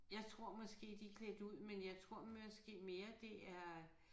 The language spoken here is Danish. Jeg tror måske de klædt ud men jeg tror måske mere det er